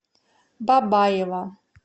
бабаево